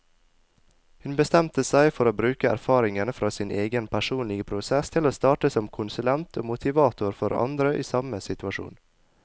Hun bestemte seg for å bruke erfaringene fra sin egen personlige prosess til å starte som konsulent og motivator for andre i samme situasjon.